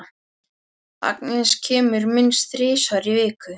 Agnes kemur minnst þrisvar í viku.